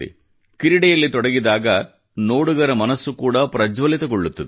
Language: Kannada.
ಕ್ರೀಡೆಯಲ್ಲಿ ತೊಡಗಿದಾಗ ನೋಡುಗರ ಮನಸ್ಸು ಕೂಡಾ ಪ್ರಜ್ವಲಿತಗೊಳ್ಳುತ್ತದೆ